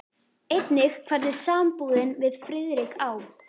Einnig hvernig sambúðin við Friðrik á